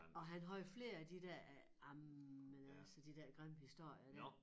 Og han havde flere af de der øh ej men altså de der grimme historier der